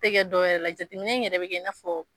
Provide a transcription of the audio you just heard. Te gɛ dɔ wɛrɛ la jateminɛ in yɛrɛ be kei n'a fɔ